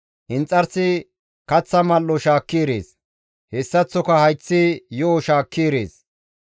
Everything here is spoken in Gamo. Inxarsi kaththa mal7o shaakki erees; hessaththoka hayththi yo7o shaakki erees.